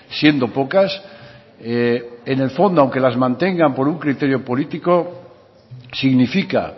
siendo pocas en el fondo aunque las mantengan por un criterio político significa